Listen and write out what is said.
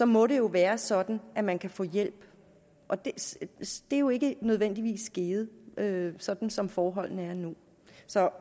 må det jo være sådan at man kan få hjælp og det er jo ikke nødvendigvis givet givet sådan som forholdene er nu